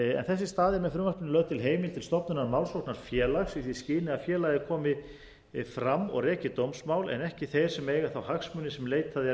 er með frumvarpinu lögð til heimild til stofnunar málsóknarfélags í því skyni að félagið komi fram og reki dómsmál en ekki þeir sem eiga þá hagsmuni sem leitað er